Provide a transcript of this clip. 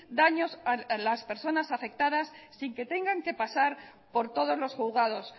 daños a las personas afectadas sin que tengan que pasar por todos los juzgados